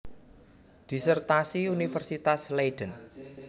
Disertasi Universitas Leiden